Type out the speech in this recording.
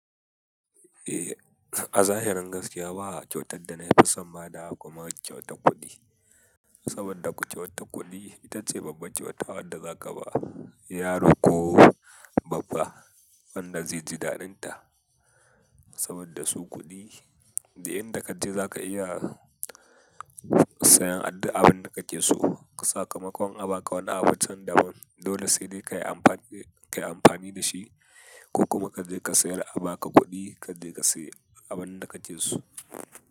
Eh, a zahirin gaskiya ba kyautar da na yafi son badawa kuma kyautar kuɗi. Saboda kyautar kuɗi itace babban kyauta wanda zaka ba yaro ko babba wanda zai ji daɗinta. Saboda su kuɗi da inda kaje zaka iya sayan duk abin da kake so. Sakamakon a baka wani abun can da ban dole sai dai kai kayi amfani da shi ko kuma kaje ka sayar a baka kuɗi kaje ka sayi abin da kake so.